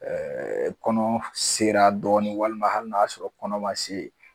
kɔnɔ sera dɔɔnin walima hali n'a y'a sɔrɔ kɔnɔma se